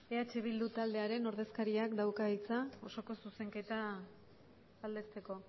eh bildu taldearen ordezkariak dauka hitza osoko zuzenketa aldezteko